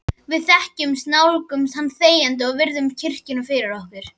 Við nálgumst hann þegjandi og virðum kirkjuna fyrir okkur.